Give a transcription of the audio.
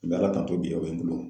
N bɛ Ala tanto bi o bɛ n bolo